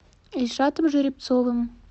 ильшатом жеребцовым